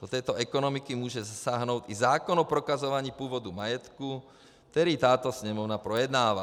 Do této ekonomiky může zasáhnout i zákon o prokazování původu majetku, který tato Sněmovna projednává.